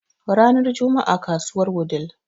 ranar Juma'a kasuwar wudii